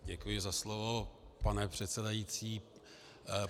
Děkuji za slovo, pane předsedající.